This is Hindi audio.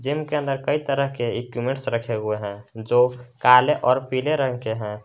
जिम के अंदर कई तरह के इक्विपमेंट रखे हुए हैं जो काले और पीले रंग के हैं।